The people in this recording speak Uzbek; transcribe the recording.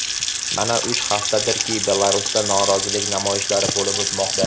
Mana uch haftadirki Belarusda norozilik namoyishlari bo‘lib o‘tmoqda.